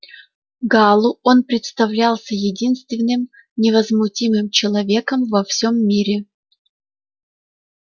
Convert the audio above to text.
гаалу он представлялся единственным невозмутимым человеком во всем мире